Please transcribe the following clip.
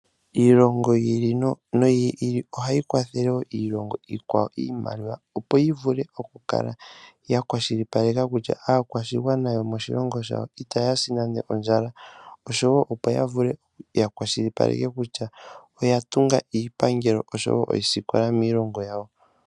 Iilongo yi ili noyi ili ohayi kwathele woo oku kwathela woo iilongo iikwawo iimaliwa, opo yi vule oku kala ya kwashilipaleke kutya, aakwashigwana yo moshilongo shawo ita yasi nande ondjala, oshowo opo ya vule ya kwashilipaleke kutya oya tunga iipangelo oshowo oosikola miilongo yawo.